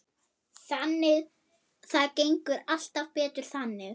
Það gengur allt betur þannig.